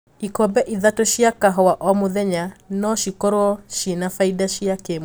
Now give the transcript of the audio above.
Ikombe ithatũ cia kahũa oo mũthenya no cikorwo cie na faida cia kimwiri.